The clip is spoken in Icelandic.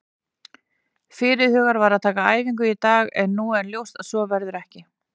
Fyrirhugað var að taka æfingu í dag en nú er ljóst að svo verður ekki.